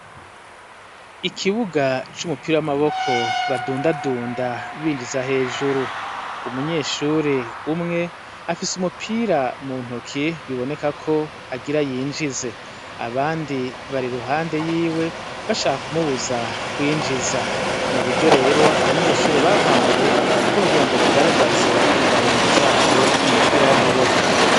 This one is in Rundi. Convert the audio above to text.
Ikibuga cumupira wamaboko badundadunda binjiza hejuru umunyeshuri umwe afise umupira muntoki biboneka ko agira yinjize abandi bari iruhande yiwe hashaka kumubuza kwinjiza nuburyo rero abanyeshure bahawe bwokugira bagaragaze ingabirano zabo mumupira wa maboko.